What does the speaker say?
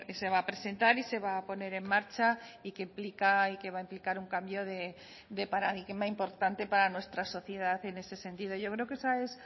se va a presentar y se va a poner en marcha y que implica y que va a implicar un cambio de paradigma importante para nuestra sociedad en ese sentido yo creo que esa es